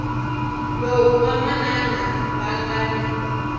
lowu vamanana va nga na